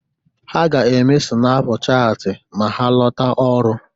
Ha ga-eme sịnaapụ chaatị ma ha lọta ọrụ.